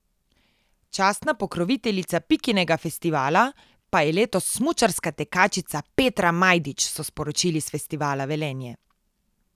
Častna pokroviteljica Pikinega festivala pa je letos smučarska tekačica Petra Majdič, so sporočili s Festivala Velenje.